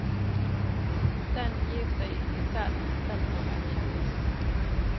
Den gir seg ikke selv, den må erkjennes.